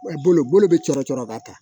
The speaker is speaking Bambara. Bolo bɛ cɔrɔ cɔrɔ ka taa